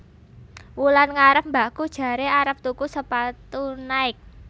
Wulan ngarep mbakku jarene arep tuku sepatu Nike